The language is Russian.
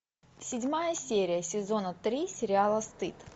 седьмая серия сезона три сериала стыд